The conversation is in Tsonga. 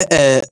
E-e,